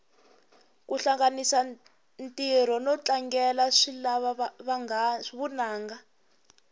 kuhlanganisa ntiro notlangela swilava vunanga